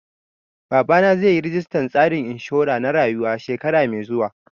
Babana zai yi registan tsarin inshura na rayuwa shekara mai zuwa